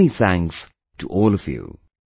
Many thanks to all of you